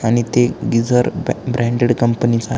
आणि ते गिझर ब ब्रँडेड कंपनी चा आहे.